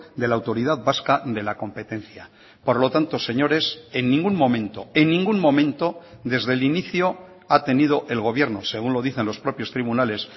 de la autoridad vasca de la competencia por lo tanto señores en ningún momento en ningún momento desde el inicio ha tenido el gobierno según lo dicen los propios tribunales